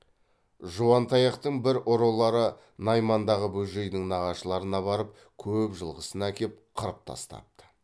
жуантаяқтың бір ұрылары наймандағы бөжейдің нағашыларына барып көп жылқысын әкеп қырып тастапты